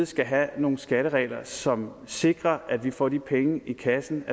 skal have nogle skatteregler som sikrer at vi får de penge i kassen